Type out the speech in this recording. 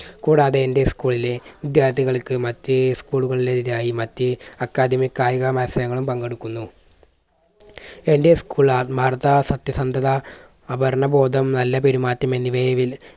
കൂടാതെ എൻറെ school ലെ വിദ്യാർഥികൾക്ക് മറ്റ് school കളായി മറ്റ് അക്കാദമി കായിക മത്സരങ്ങളിൽ പങ്കെടുക്കുന്നു. എൻറെ school ആത്മാർത്ഥത സത്യസന്ധത അപർണബോധം നല്ല പെരുമാറ്റം എന്നിവയെ